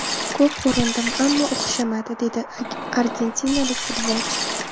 Ko‘p urindim, ammo o‘xshamadi”, dedi argentinalik futbolchi.